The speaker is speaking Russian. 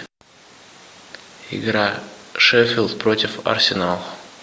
игра шеффилд против арсенала